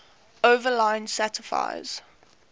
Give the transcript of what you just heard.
overline satisfies